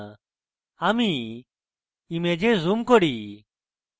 আমি image zoom করি